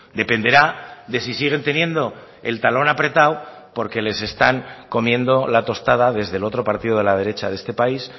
dependerá de si siguen teniendo el talón apretado porque les están comiendo la tostada desde el otro partido de la derecha de este país